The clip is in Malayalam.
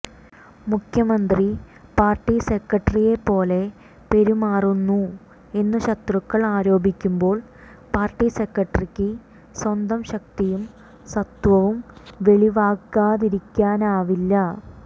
മുഖ്യമന്ത്രി പാർട്ടി സെക്രട്ടറിയെപ്പോലെ പെരുമാറുന്നു എന്നു ശത്രുക്കൾ ആരോപിക്കുന്പോൾ പാർട്ടി സെക്രട്ടറിക്ക് സ്വന്തം ശക്തിയും സത്വവും വെളിവാക്കാതിരിക്കാനാവില്ല